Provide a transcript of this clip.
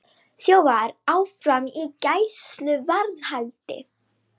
Þjófar áfram í gæsluvarðhaldi